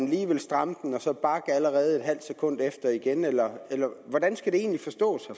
lige stramme den og så bakke allerede et halvt sekund efter igen eller hvordan skal det egentlig forstås